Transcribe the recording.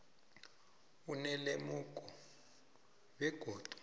onelemuko tle begodu